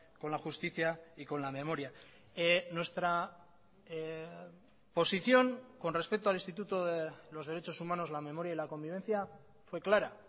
con la justicia y con la memoria nuestra posición con respecto al instituto de los derechos humanos la memoria y la convivencia fue clara